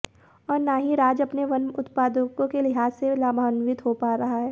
और न ही राज्य अपने वन उत्पादों के लिहाज से लाभान्वित हो पा रहा है